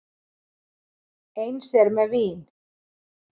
Eins er með vín.